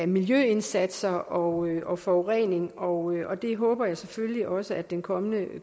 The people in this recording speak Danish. miljøindsatser og og forurening og det håber jeg selvfølgelig også at den kommende